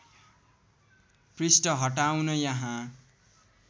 पृष्ठ हटाउन यहाँ